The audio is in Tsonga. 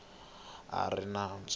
kumiwaka a ri ni nandzu